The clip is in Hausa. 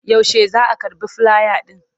Yaushe za a karɓi filaya ɗin?